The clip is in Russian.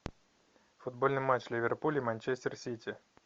футбольный матч ливерпуль и манчестер сити